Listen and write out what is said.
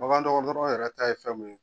Bagandɔgɔtɔrɔn yɛrɛ ta ye fɛn mun ye.